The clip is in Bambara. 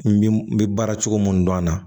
N bi n bɛ baara cogo mun dɔn a la